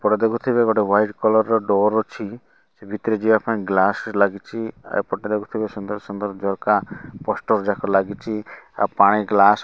ଏପଟେ ଦେଖୁଥିବେ ଗୋଟେ ହ୍ଵାଇଟ୍ କଲର୍ ର ଡୋର୍ ଅଛି ସେ ଭିତରେ ଯିବାପାଇଁ ଗ୍ଲାସେ ଲାଗିଚିବ ଆ ଏପଟରେ ଗୋଟେ ସୁନ୍ଦର୍ ସୁନ୍ଦର୍ ଝରକା ପୋଷ୍ଟର୍ ଯାକ ଲାଗିଚି ଆଉ ପାଣି ଗ୍ଲାସ୍ --